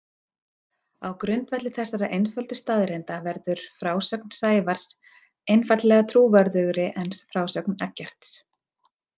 Á grundvelli þessara einföldu staðreynda verður frásögn Sævars einfaldlega trúverðugri en frásögn Eggerts.